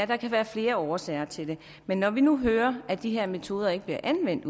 der kan være flere årsager til det men når vi nu hører at de her metoder ikke bliver anvendt